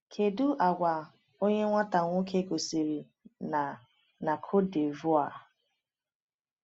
“Kedu àgwà onye nwata nwoke gosiri na na Côte d’Ivoire?”